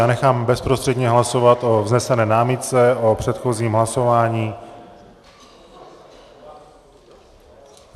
Já nechám bezprostředně hlasovat o vznesené námitce o předchozím hlasování.